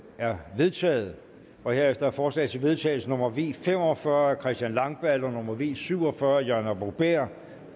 er vedtaget herefter er forslag til vedtagelse nummer v fem og fyrre af christian langballe og nummer v syv og fyrre af jørgen arbo bæhr